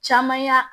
Caman y'a